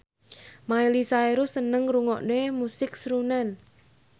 Miley Cyrus seneng ngrungokne musik srunen